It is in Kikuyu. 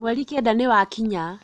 Mweri Kenda nĩwakinya